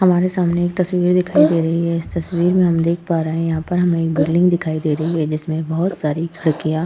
हमारे सामने एक तस्वीर दिखाई दे रही है। इस तस्वीर में हम देख पा रहे है यहाँ पर हमें एक बिल्डिंग दिखाई दे रही है जिसमें बहोत सारी खिड़कियाँ --